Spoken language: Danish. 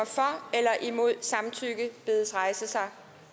eller imod samtykke bedes rejse sig